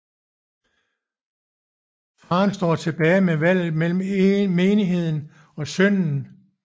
Faren står tilbage med valget mellem menigheden og sønnen